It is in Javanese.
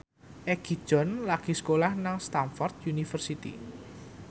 Egi John lagi sekolah nang Stamford University